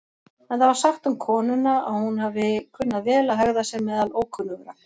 Enda var sagt um konuna að hún hafi kunnað vel að hegða sér meðal ókunnugra.